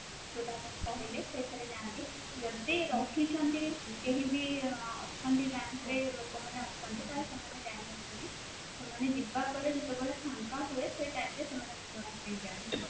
ଯୋଉଟା ଆପଣ କହିଲେ ସେଥିରେ ଯାଆନ୍ତି ଯଦି ରହିଛନ୍ତି କେହି ବି ଅଛନ୍ତି bank ରେ ଲୋକ ମାନେ ଅଛନ୍ତି ତାହାଲେ ସେମାନେ ଜାଣିନଥାନ୍ତି ସେମାନେ ଯିବାପରେ ଯେତେବେଳେ ଫାଙ୍କା ହୁଏ ସେଇ time ରେ ସେମାନେ